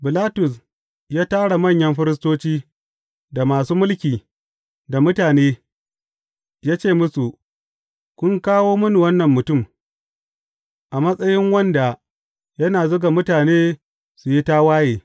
Bilatus ya tara manyan firistoci, da masu mulki, da mutane, ya ce musu, Kun kawo mini wannan mutum, a matsayin wanda yana zuga mutane su yi tawaye.